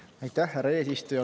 Aitäh, härra eesistuja!